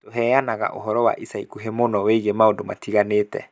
Tũheanaga ũhoro wa ica ikuhĩ mũno wĩgiĩ maũndũ matiganĩte